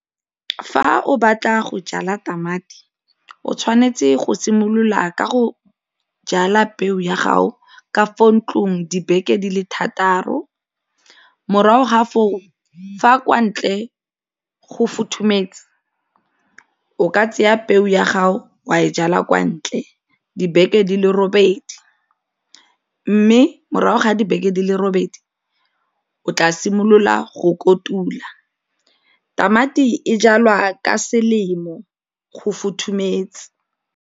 Fa o batla go jala tamati, o tshwanetse go simolola ka go jala peo ya gago ka fo ntlong dibeke di le thataro morago ga foo fa kwa ntle go futhumetse o ka tseya peo ya gago wa e jala kwa ntle dibeke di le robedi mme morago ga dibeke di le robedi o tla simolola go kotula. Tamati e jalwa ka selemo go fothumetse.